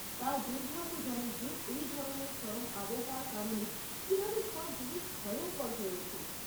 তাও দুর্ভাগ্যজনক যে এই ধরনের চরম আবহাওয়ার কারণে কীভাবে সব জিনিস ভয়ঙ্কর হয়ে ওঠে।